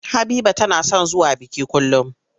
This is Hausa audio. Habiba tana son zuwa biki kullum.